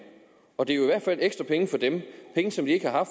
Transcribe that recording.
og det er jo i hvert fald ekstra penge for dem penge som de ikke har